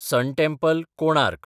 सन temple, Konark